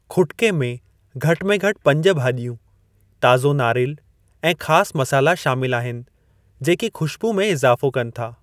खुटिके में घटि में घटि पंज भाॼियूं, ताज़ो नारेलु, ऐं ख़ासि मसाला शामिलु आहिनि जेकी ख़ुश्बूइ में इज़ाफ़ो कनि था।